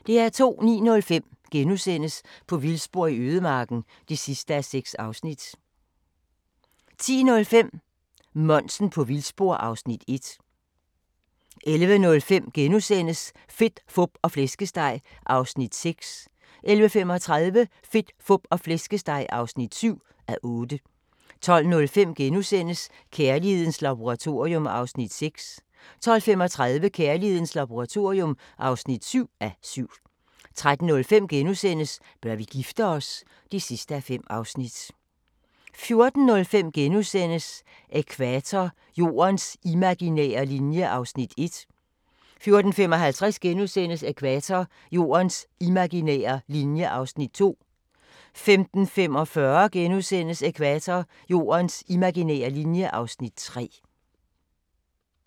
09:05: På vildspor i ødemarken (6:6)* 10:05: Monsen på vildspor (Afs. 1) 11:05: Fedt, Fup og Flæskesteg (6:8)* 11:35: Fedt, Fup og Flæskesteg (7:8) 12:05: Kærlighedens Laboratorium (6:7)* 12:35: Kærlighedens Laboratorium (7:7) 13:05: Bør vi gifte os? (5:5)* 14:05: Ækvator – Jordens imaginære linje (Afs. 1)* 14:55: Ækvator – Jordens imaginære linje (Afs. 2)* 15:45: Ækvator – Jordens imaginære linje (Afs. 3)*